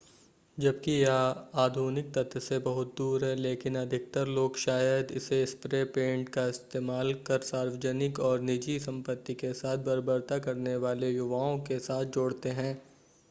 जबकि यह आधुनिक तथ्य से बहुत दूर है लेकिन अधिकतर लोग शायद इसे स्प्रे पेंट का इस्तेमाल कर सार्वजनिक और निजी संपत्ति के साथ बर्बरता करने वाले युवाओं के साथ जोड़ते हैं